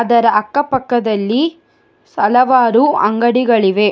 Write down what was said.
ಅದರ ಅಕ್ಕ ಪಕ್ಕದಲ್ಲಿ ಸ ಹಲವಾರು ಅಂಗಡಿಗಳಿವೆ.